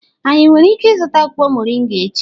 Anyi nwere ike izuta akwukwo moringa echi?